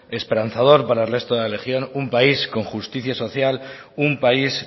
esperanzador para el resto de la región un país con justicia social un país